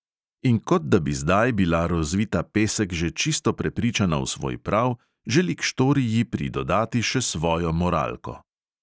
In kot da bi zdaj bila rozvita pesek že čisto prepričana v svoj prav, želi k štoriji pridodati še svojo moralko.